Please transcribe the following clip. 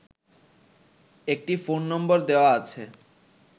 একটি phone number দেয়া আছে